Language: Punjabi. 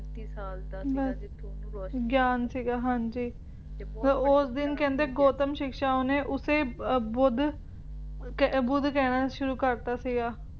ਪੈਂਤੀ ਸਾਲ ਦੀ ਸੀਗਾ ਜਿਥੋਂ ਉਸ ਦਿਨ ਕਹਿੰਦੇ ਗੌਤਮ ਸਿਕਸ਼ਾ ਓਹਨੇ ਓਸੇ ਬੁੱਧ ਬੁੱਧ ਕਹਿਣਾ ਸ਼ੁਰੂ ਕਰਤਾ ਸੀਗਾ